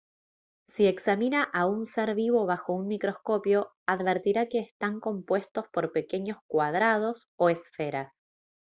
si examina a un ser vivo bajo un microscopio advertirá que están compuestos por pequeños cuadrados o esferas